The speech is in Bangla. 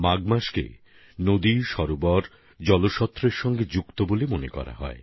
মাঘ মাস বিশেষভাবে নদী সরোবর এবং জলস্রোতের সঙ্গে জুড়ে থাকে বলে মানা হয়